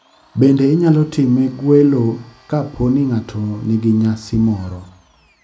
Bende inyalo time gwelo ka poni ng'ato ni gi nyasi moro.